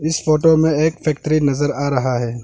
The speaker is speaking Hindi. इस फोटो में एक फैक्ट्री नजर आ रहा है।